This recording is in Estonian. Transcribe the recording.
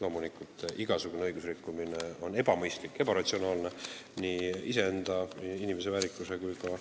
Loomulikult, igasugune õigusrikkumine on ebamõistlik ja ebaratsionaalne inimese iseenda väärikuse ja ka